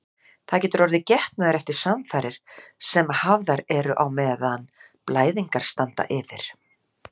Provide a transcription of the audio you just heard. Það getur orðið getnaður eftir samfarir sem hafðar eru á meðan blæðingar standa yfir.